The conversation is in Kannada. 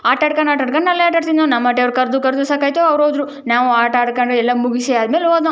ಆಟ ಆಡ್ಕೊಂಡು ಆಟ ಆಡ್ಕೊಂಡು ಅಲ್ಲೇ ಆಟಾಡೋದು ನಮ್ಮ ಹಟ್ಟಿಯವರು ಕರ್ದು ಕರ್ದು ಸಾಕಾಯ್ತು ಅವ್ರು ಹೋದ್ರು ನಾವು ಆಟ ಆಡ್ಕೊಂಡು ಎಲ್ಲ ಮುಗಿಸಿ ಆದಮೇಲೆ ಹೋದ್ವು.